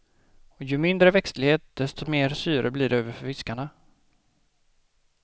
Och ju mindre växtlighet desto mer syre blir det över för fiskarna.